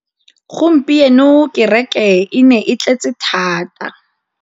Gompieno kêrêkê e ne e tletse tota.